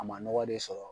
A ma nɔgɔ de sɔrɔ